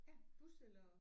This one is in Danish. Ja bus eller